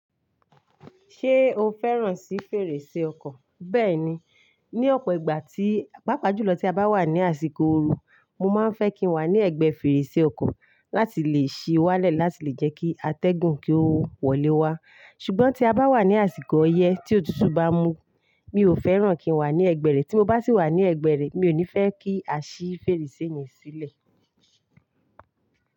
Ṣé o fẹ́ràn sí fèrèsé ọkọ̀? Bẹ́ẹ̀ni, ní ọ̀pọ̀ ìgbà tí, pàápàá jùlọ tí a bá wà ní àsìkò ooru, mo máa ń fẹ́ kí n wà ní ẹ̀gbẹ́ fèrèsé ọkọ̀ láti le è ṣí wálẹ̀ láti lè jẹ́ kí atẹ́gùn kí ó wọlé wá. Ṣùgbọ́n tí a bá wà ní àsìkò ọyẹ́ tí òtútù bá mú, mi ò fẹ́ràn kí n wà ní ẹ̀gbẹ́ rẹ̀. Tí mo bá sì wà ní ẹ̀gbẹ́ rẹ̀, mi ò ní fẹ́ kí a ṣí fèrèsé yẹn sílẹ̀.